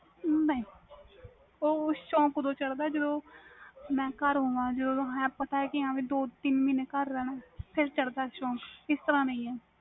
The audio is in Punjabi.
ਨਹੀਂ ਉਹ ਸੌਕ ਓਦੋ ਹੁੰਦਾ ਵ ਜਦੋ ਮੈਂ ਘਰ ਆਵਾ ਓਦੋ ਸੌਕ ਆਂਦਾ ਵ ਪਤਾ ਵ ਹੁਣ ਦੋ ਤਿੰਨ ਮਹੀਨੇ ਘਰ ਰਹਿਣਾ ਵ ਓਦੋ ਹੁੰਦਾ ਸੌਕ